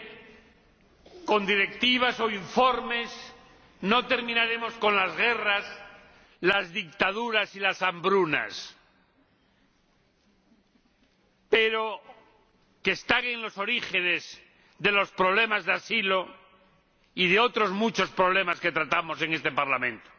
Señor Presidente, ciertamente con directivas o informes no terminaremos con las guerras, las dictaduras ni las hambrunas —que están en los orígenes de los problemas de asilo y de muchos otros problemas que tratamos en este Parlamento—,